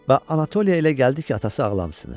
Və Anatoliyə elə gəldi ki, atası ağlamasınınır.